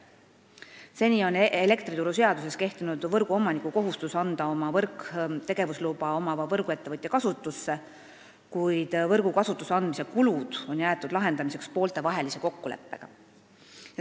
Seni on elektrituruseaduses kehtinud võrguomaniku kohustus anda oma võrk tegevusluba omava võrguettevõtja kasutusse, kuid võrgu kasutusse andmise kulud on jäetud lahendamiseks pooltevahelise kokkuleppega.